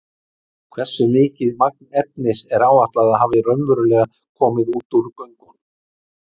Hversu mikið magn efnis er áætlað að hafi raunverulega komið út úr göngunum?